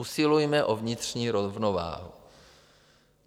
Usilujme o vnitřní rovnováhu.